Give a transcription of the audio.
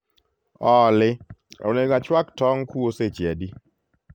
olly onego achwak tong kuo seche adi